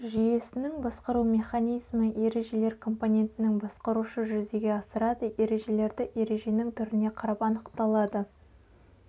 жүйесіннің басқару механизмі ережелер компонентінің басқарушы жүзеге асырады ережелерді ереженің түріне қарап анықталады